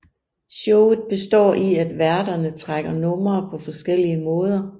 Showet består i at værterne trækker numre på forskellige måder